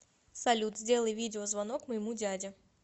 салют сделай видеозвонок моему дяде